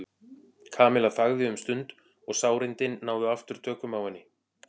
Kamilla þagði um stund og sárindin náðu aftur tökum á henni.